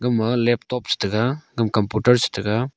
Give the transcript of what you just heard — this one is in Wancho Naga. ema laptop cha taiga computer cha taiga.